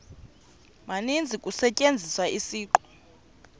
maninzi kusetyenziswa isiqu